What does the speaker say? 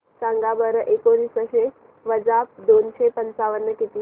सांगा बरं एकोणीसशे वजा दोनशे पंचावन्न किती